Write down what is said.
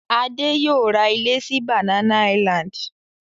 Adé yóò ra ilé sí Banana Island.